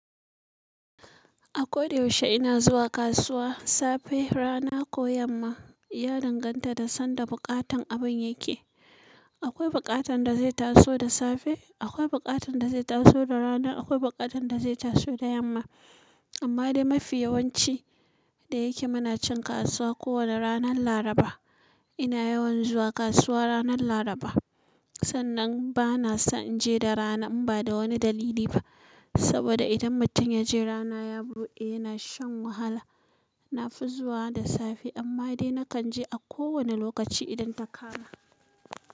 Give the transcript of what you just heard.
A koda yaushe ina zuwa kasuwa, safe, rana ko yamma. Ya danganta da sanda buƙatan abin yake. Akwai buƙatan da zai taso da safe, akwai buƙatan da zai taso da rana, akwai buƙatan da zai taso da yamma. Amma dai mafi yawanci da yake muna cin kasuwa kowane ranar Laraba. Ina yawan zuwa kasuwa ranar Laraba. Sannan bana so inje da rana in bada wani dalili ba. Saboda idan mutum yaje rana ya bude yana shan wahala. Nafi zuwa da safe. Amma dai nakan je a kowane lokaci idan ta kama.